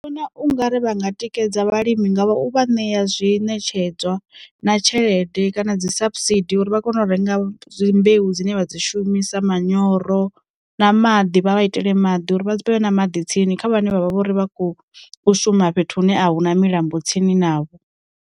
Vhona ungari vhanga tikedza vhalimi ngavha u vha ṋea zwi ṋetshedzwa na tshelede kana dzi saps seed uri vha kone u renga dzi mbeu dzine vha dzi shumisa manyoro, na maḓi vha vha itele maḓi uri vha vhe na maḓi tsini kha vhane vhavha vho ri vha khou shuma fhethu hune a hu na milambo tsini navho.